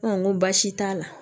n ko baasi t'a la